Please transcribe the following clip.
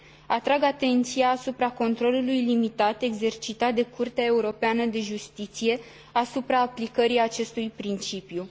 Atrag atenția asupra controlului limitat exercitat de Curtea Europeană de Justiție asupra aplicării acestui principiu.